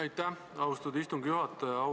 Aitäh, austatud istungi juhataja!